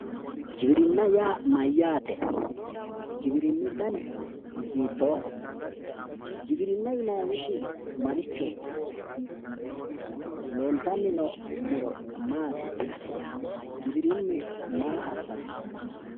giwiirinna yaa mayyate giwirinu danni hiitoho giwina yinahu isi hiitoho giwirinu marcho leellitano noo muro marichooti giwirinu maa assano